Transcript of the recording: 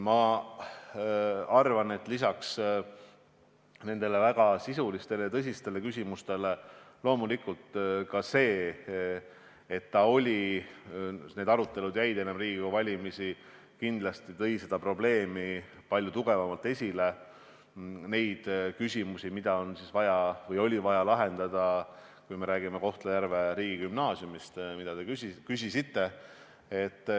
Ma arvan, et lisaks väga sisulistele ja tõsistele küsimustele tõi ka asjaolu, et need arutelud jäid vahetult Riigikogu valimiste eelsesse aega, selle probleemi palju tugevamalt esile – need küsimused, mida oli vaja Kohtla-Järve riigigümnaasiumiga seoses lahendada.